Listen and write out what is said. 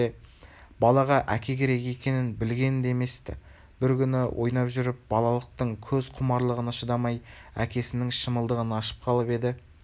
балаға әке керек екенін білген де емес-ті бір күні ойнап жүріп балалықтың көз құмарлығына шыдамай әкесінің шымылдығын ашып қалып еді